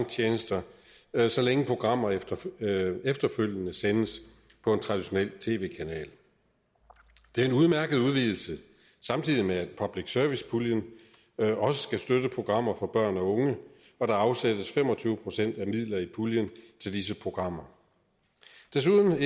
tjenester så længe programmerne efterfølgende sendes på en traditionel tv kanal det er en udmærket udvidelse samtidig med at public service puljen også skal støtte programmer for børn og unge og der afsættes fem og tyve procent af midlerne i puljen til disse programmer desuden